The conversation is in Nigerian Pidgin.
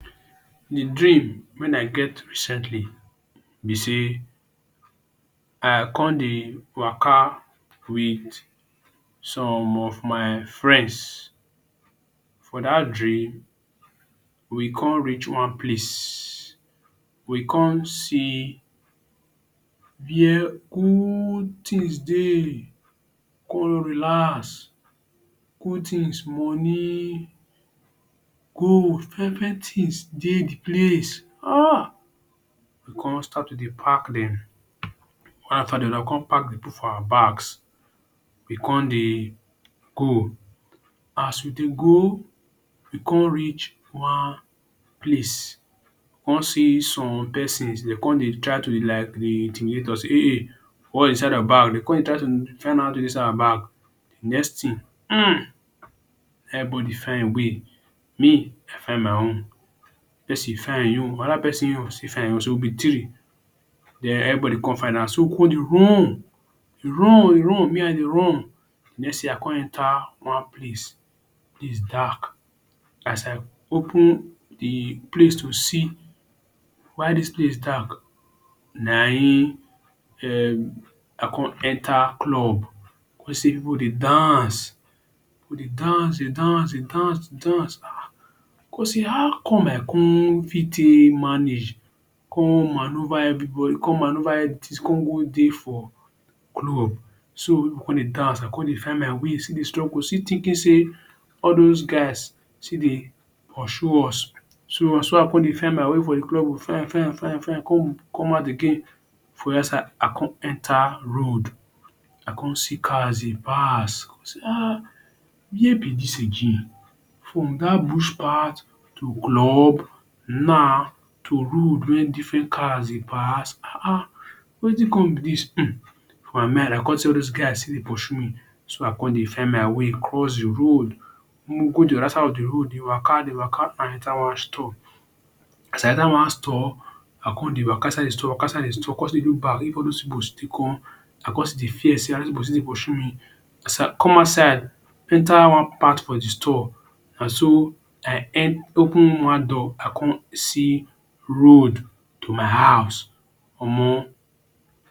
The dream when i get recently be sey i con dey waka with some of my friends. For dat dream we con reach one place, we con see where old things dey. We con relax. Old things many. Gold fine fine things dey the place um We con start to dey pack dem one after the other. We con pack dem put for our bags, we con dey go. As we dey go, we con reach wan place con see some persons. De con dey try to like to dey intimidate us. Sey ey ey what is inside your bag. De con dey try to find out wat is inside our bag. The next thing um na im everybody find e way. Me i find my own. pesin find e own. Another pesin e own still find e own. So, we be three. Den everybody con find out. So we con dey run dey run we run, me i dey run. Next thing i con enter one place, the place dark. As i open the place to see why dis place dark na im um i con enter club con see pipu dey dance. Pipu dey dance dey dance dey dance dey dance dey dance um. Con say how come i con fit take manage Con manoeuvre everybody con manoeuvre everything con go dey for club. So pipu con dey dance. I con dey find my way still dey struggle still thinking sey all dos guys sti dey pursue us. So, so i con dey find my way for the club find find find find, con come out again for one side. I con enter road. I con see cars dey pass. I con say um where be dis again. From dat bush part to club, now to road wey different cars dey pass um. Wetin con be dis um for my mind I con say all dos guy still dey pursue me. so I con dey find my way cross the road Mu go the otherside of the road dey waka dey waka, i enter one store. As i enter one store, I con dey waka inside the store waka inside the store con still dey look back all dos pipu still come. I con still dey fear sey still dey pursue you. As i come outside, enter one part of the store, na so i open one door i con see road to my house. Omo